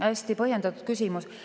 Hästi põhjendatud küsimus.